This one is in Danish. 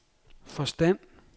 forstand